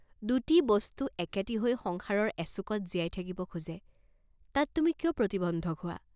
দুটি বস্তু একেটি হৈ সংসাৰৰ এচুকত জীয়াই থাকিব খোজে, তাত তুমি কিয় প্ৰতিবন্ধক হোৱা?